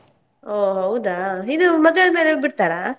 ಓ ಹೌದಾ ಇನ್ನೂ ಮದ್ವೆ ಆದ್ಮೇಲೆ ಬಿಡ್ತಾರಾ?